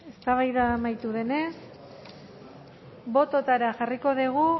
eztabaida amaitu denez bototara jarriko dugu